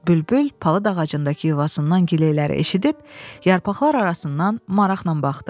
Bülbül palıd ağacındakı yuvasından giləyləri eşidib yarpaqlar arasından maraqla baxdı.